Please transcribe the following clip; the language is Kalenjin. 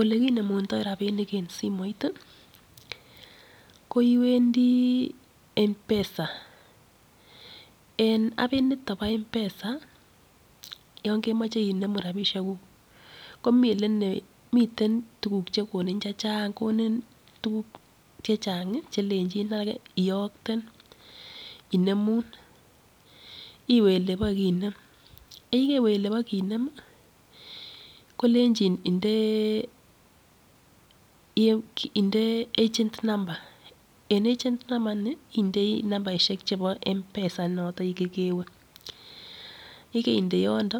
Olekinemundo rabinik en simoit ii koiwendi M-pesa, en apiniton bo M_pesa yon kemoche inemu rabishekuk komi ele komiten tuguk chekonin chechang, konin tuguk chechang chelenjin ake iyokten, inemu iwe elebokinem yekeiwe elenokinem kolenjin inde agent number, en agent number ini indei numberishek chebo m-pesa notet kokewe yekeinde yondo